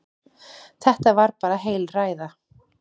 Þetta var bara heil ræða.